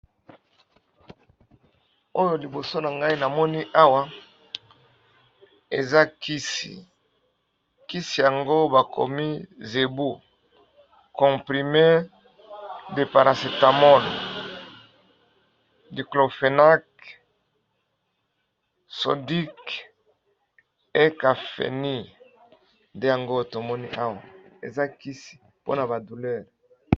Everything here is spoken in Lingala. oyo liboso na ngai na moni awa eza kisi kisi yango bakomi zebu comprime deparasitamon niklopenak sondik ekafeni de yango tomoni awa eza kisi mpona ba doulere.